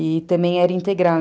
E também era integral.